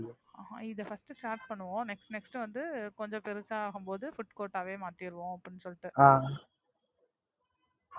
அஹ் இத First start பண்ணுவோம். Next next வந்து கொஞ்சம் பெருசாவே ஆகும் போது Food court ஆ மாத்திருவோம் அப்டின்னு சொல்ட்டு